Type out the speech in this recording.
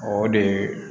O de ye